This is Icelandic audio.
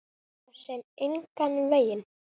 Svo sem engan veginn